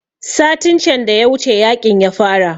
Satin can da ya wuce yaƙin ya fara